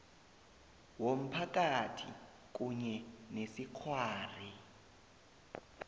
womphakathi kunye nesikghwari